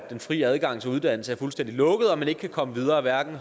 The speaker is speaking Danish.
fri adgang til uddannelse er fuldstændig lukket og man ikke kan komme videre hverken